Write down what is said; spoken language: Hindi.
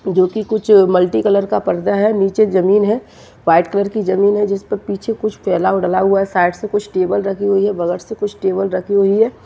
जो कुछ मल्टी कलर का पर्दा है नीचे जमीन है व्हाइट कलर की जमीन है जिस पे पीछे कुछ फेला हुआ उगला साइड से कुछ टेबल रखी हुई है बगत से कुछ टेबल राखी हुई है।